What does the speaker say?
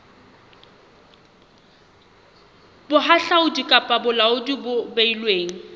bohahlaudi kapa bolaodi bo beilweng